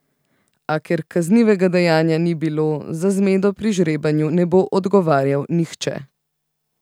A, ker kaznivega dejanja ni bilo, za zmedo pri žrebanju ne bo odgovarjal nihče.